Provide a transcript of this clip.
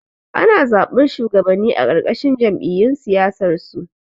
Ana zaɓar shuwagabanni a ƙarƙashin jam'iyyun siyasarsu